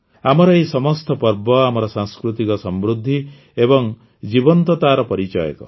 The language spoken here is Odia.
ଆମର ଏହି ସମସ୍ତ ପର୍ବ ଆମର ସାଂସ୍କୃତିକ ସମୃଦ୍ଧି ଏବଂ ଜୀବନ୍ତତାର ପରିଚାୟକ